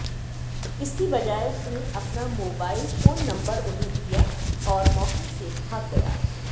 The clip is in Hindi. इसकी बजाय उसने अपना मोबाइल फोन नंबर उन्हें दिया और मौके से भाग गया